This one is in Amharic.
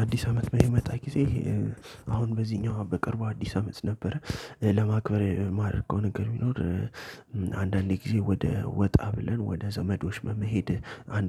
አዲስ አመት በሚመጣ ጊዜ አሁን በእዚኛው በቅርቡ አዲስ አመት ነበረ ለማክበር የማደርገው ነገር ቢኖር አዲስ አመት በሚመጣ ጊዜ አሁን በእዚኛው በቅርቡ አዲስ አመት ነበረ ለማክበር